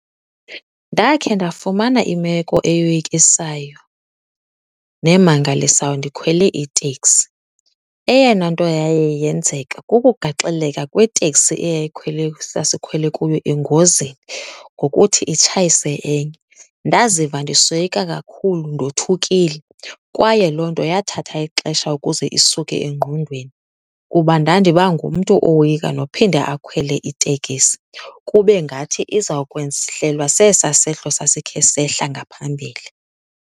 Ndakhe ndafumana imeko eyoyikisayo nemangalisayo ndikhwele iteksi. Eyona nto yaye yenzeka kukugaxeleka kweteksi eyayikhwele sasikhwele kuyo engozini ngokuthi itsayise enye. Ndaziva ndisoyika kakhulu ndothukile. Kwaye loo nto yathatha ixesha ukuze isuke engqondweni kuba ndandiba ngumntu owoyika nophinda akhwele itekisi kube ngathi izawukwehlelwa sesaa sehlo sasikhe sehla ngaphambili.